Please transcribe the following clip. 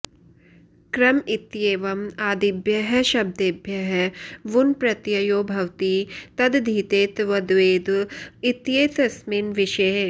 क्रम इत्येवम् आदिभ्यः शब्देभ्यः वुन् प्रत्ययो भवति तदधीते तद्वेद इत्येतस्मिन् विषये